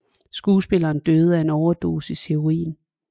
Skuespilleren døde af en overdosis heroin